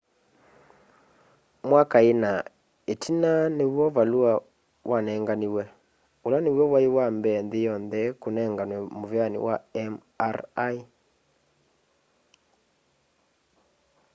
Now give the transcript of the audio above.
mwaka ina itina niw'o valua wanenganiwe ula niw'o wai wambee nthi yonthe kunenganwe muveani wa mri